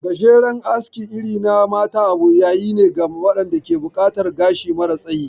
Gajeren aski irin na mata abun yayine ga waɗanda ke buƙatar gashi mara tsayi